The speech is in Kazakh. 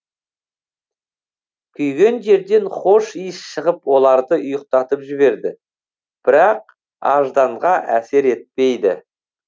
күйген жерден хош иіс шығып оларды ұйықтатып жіберді бірақ ажданға әсер етпейді